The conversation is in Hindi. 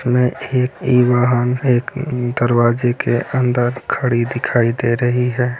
मे एक इ वाहन है एक दरवाजे के अंदर खड़ी दिखाई दे रही है।